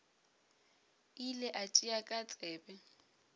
ile a tšea ka tsebe